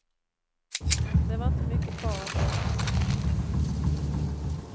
Det var inte mycket kvar att göra.